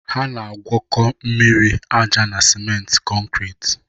Ha na-agwakọ mmiri, aja na smenti kọnkriit